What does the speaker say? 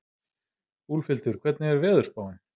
Úlfhildur, hvernig er veðurspáin?